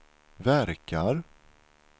verkar